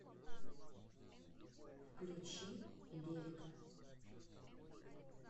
включи лирика